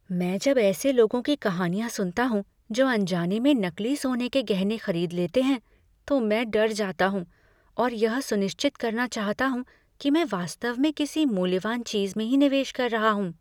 मैं जब ऐसे लोगों की कहानियां सुनता हूँ जो अनजाने में नकली सोने के गहने खरीद लेते हैं तो मैं डर जाता हूँ और यह सुनिश्चित करना चाहता हूँ कि मैं वास्तव में किसी मूल्यवान चीज़ में ही निवेश कर रहा हूँ।